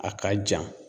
A ka jan